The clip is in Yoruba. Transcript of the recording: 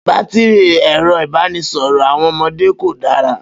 Batìrì ẹ̀rọ ìbánisọ̀rọ̀ àwọn ọmọdé kò dára